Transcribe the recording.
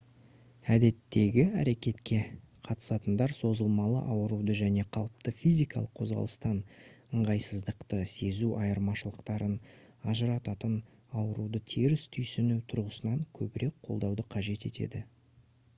әдеттегі әрекетке қатысатындар созылмалы ауыруды және қалыпты физикалық қозғалыстан ыңғайсыздықты сезу айырмашылықтарын ажырататын ауыруды теріс түйсіну тұрғысынан көбірек қолдауды қажет етеді